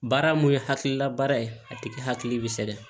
Baara mun ye hakilila baara ye a tigi hakili bɛ sɛgɛn